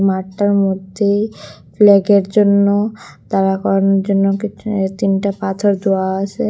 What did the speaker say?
মাঠটার মধ্যেই ফ্ল্যাগের জন্য দাঁড়া করানোর জন্য কিছু তিনটে পাথর দোওয়া আসে।